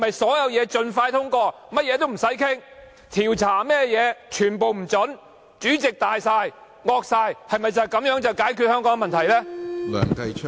所有事情盡快通過，不作討論；調查一概不准；主席大權在握，橫行霸道，難道就是你們解決香港問題的方法嗎？